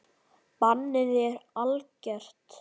Bannið er algert.